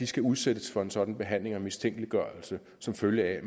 skal udsættes for en sådan behandling og mistænkeliggørelse som følge af at